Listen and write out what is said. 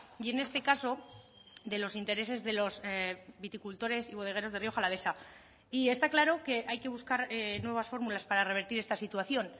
y en este caso de los intereses de los viticultores y bodegueros de rioja alavesa y está claro que hay que buscar nuevas fórmulas para revertir esta situación